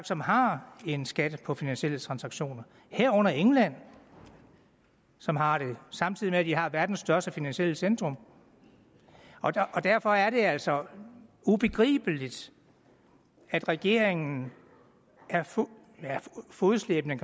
som har en skat på finansielle transaktioner herunder england som har det samtidig med at de har verdens største finansielle centrum og derfor er det altså ubegribeligt at regeringen er fodslæbende